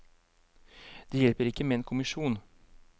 Det hjelper ikke med en kommisjon.